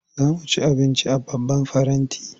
Za mu ci abinci a babban faranti.